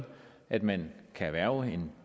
at man kan erhverve en